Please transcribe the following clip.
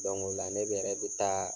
o la ne be yɛrɛ be taa